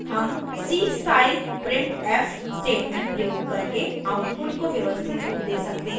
हम c style printf statement प्रयोग करके output को व्यवस्थित रूप we सकते हैं